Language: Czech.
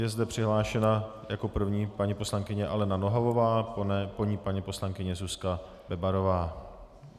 Je zde přihlášena jako první paní poslankyně Alena Nohavová, po ní paní poslankyně Zuzka Bebarová.